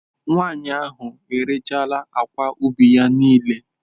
Nwanyị ahụ erechaala akwa ubi ya niile.